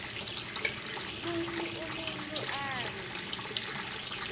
kutsi umuntfu abe